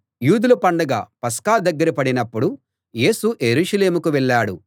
యూదుల పండగ పస్కా దగ్గర పడినప్పుడు యేసు యెరూషలేముకు వెళ్ళాడు